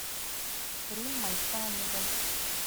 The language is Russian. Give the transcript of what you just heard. риммой каневой